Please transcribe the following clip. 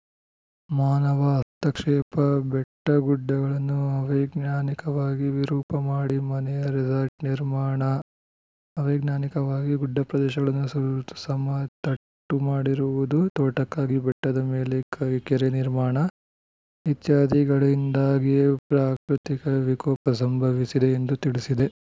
ಮಾನವ ಹಸ್ತಕ್ಷೇಪ ಬೆಟ್ಟಗುಡ್ಡಗಳನ್ನು ಅವೈಜ್ಞಾನಿಕವಾಗಿ ವಿರೂಪ ಮಾಡಿ ಮನೆ ರೆಸಾರ್ಟ್‌ ನಿರ್ಮಾಣ ಅವೈಜ್ಞಾನಿಕವಾಗಿ ಗುಡ್ಡ ಪ್ರದೇಶಗಳನ್ನು ಸಮತಟ್ಟು ಮಾಡಿರುವುದು ತೋಟಕ್ಕಾಗಿ ಬೆಟ್ಟದ ಮೇಲೆ ಕೆರೆ ನಿರ್ಮಾಣ ಇತ್ಯಾದಿಗಳಿಂದಾಗಿಯೇ ಪ್ರಾಕೃತಿಕ ವಿಕೋಪ ಸಂಭವಿಸಿದೆ ಎಂದು ತಿಳಿಸಿದೆ